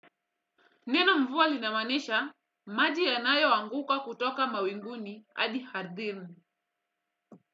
Neno mvua linamaanisha maji yanayoanguka kutoka mawinguni hadi ardhini.